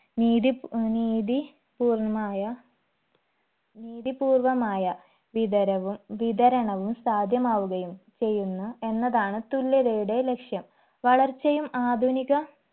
നീതി ഏർ നീതി പൂർണമായ നീതിപൂർവമായ വിതരവും വിതരണവും സാധ്യമാവുകയും ചെയ്യുന്ന എന്നതാണ് തുല്യതയുടെ ലക്ഷ്യം വളർച്ചയും ആധുനിക